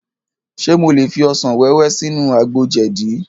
Ṣe mo lè fi ọsàn wẹ́wẹ́ sínú àgbo jẹ̀dí?